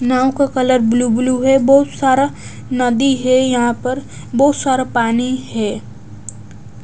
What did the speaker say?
नाव का colour blue blue है बहुत सारा नदी है यहां पर बहुत सारा पानी है।